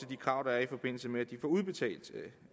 de krav der er i forbindelse med at de får udbetalt